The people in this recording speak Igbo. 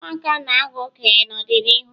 ụmụaka na-aghọ okenye n'ọdịnihu